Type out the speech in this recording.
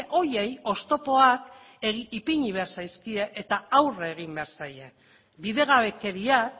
horiei oztopoak ipini behar zaizkie eta aurre egin behar zaie bidegabekeriak